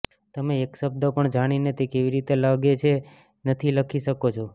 તમે એક શબ્દ પણ જાણીને તે કેવી રીતે લાગે છે નથી લખી શકો છો